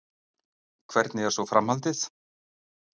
Hvernig er svo framhaldið?